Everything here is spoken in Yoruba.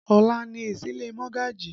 Ọ̀la ni ìsílé Mogaji